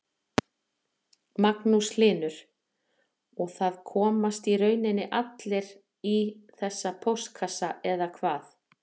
Magnús Hlynur: Og það komast í rauninni allir í þessa póstkassa eða hvað?